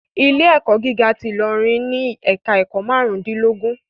Ilé ẹ̀kọ́ gíga ti Ilorin ni ẹ̀ka ẹ̀kọ́ márùn dín lógún